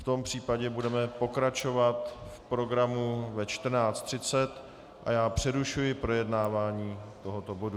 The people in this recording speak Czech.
V tom případě budeme pokračovat v programu ve 14.30, a já přerušuji projednávání tohoto bodu.